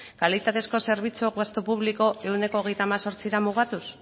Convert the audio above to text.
kalitatezko zerbitzu gastu publiko ehuneko hogeita hemezortzira mugatuz